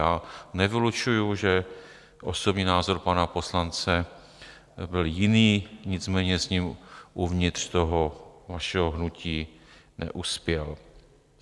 Já nevylučuji, že osobní názor pana poslance byl jiný, nicméně s ním uvnitř toho vašeho hnutí neuspěl.